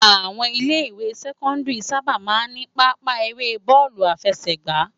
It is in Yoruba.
Áwòn ilè iwé sèkòndìrí sàbá má n ni pàápa éré bòlú áfèsëgbá